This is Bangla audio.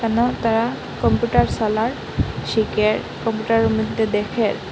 এবং তারা কপিউটার সালার শেখে কম্পিউটারের মধ্যে দেখে।